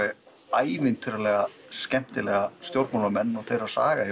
ævintýralega skemmtilega stjórnmálamenn og þeirra saga